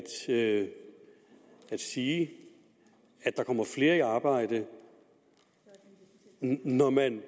at sige at der kommer flere i arbejde når man